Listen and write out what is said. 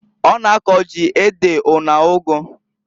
Ọ na-ako ji, ede, una ụgụ.